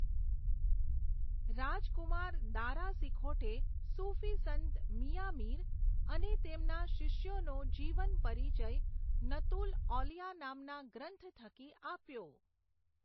રાજકુમાર દારાસિકોઠે સુફીસંત મિયાં મીર અને તેમના શિષ્યોનો જીવન પરિચય નતુલ ઔલિયા નામના ગ્રંથ થકી આપ્યો.